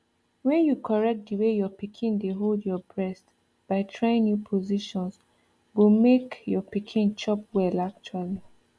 when you correct the way your pikin dey hold your breast by trying new positions go make your pikin chop well actually